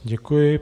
Děkuji.